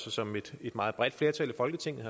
og som et meget bredt flertal i folketinget